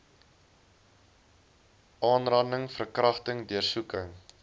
aanranding verkragting deursoeking